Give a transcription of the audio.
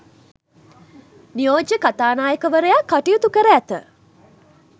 නියෝජ්‍ය කතානායකවරයා කටයුතු කර ඇත.